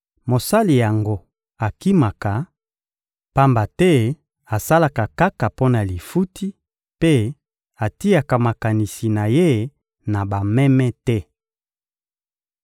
Mosali yango akimaka, pamba te asalaka kaka mpo na lifuti mpe atiaka makanisi na ye na bameme te.